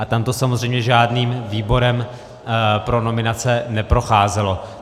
A tam to samozřejmě žádným výborem pro nominace neprocházelo.